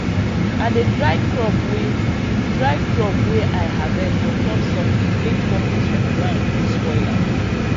i dey dry crop way dry crop way i harvest on top something make fungus from ground no spoil am